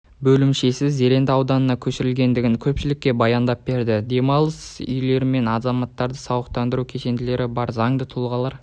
бөлімшесі зеренді ауданына көшірілгендігін көпшілікке баяндап берді демалыс үйлерімен азаматтарды сауықтыру кешендері бар заңды тұлғалар